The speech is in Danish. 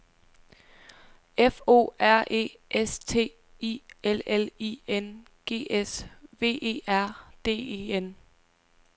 F O R E S T I L L I N G S V E R D E N